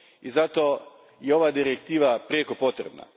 I zato je ova direktiva prijeko potrebna.